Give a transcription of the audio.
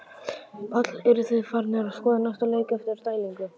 Páll: Eruð þið farnir að skoða næsta leik eftir dælingu?